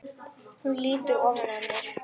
Hún lýtur ofan að mér.